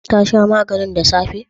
Ta sha maganin da safe?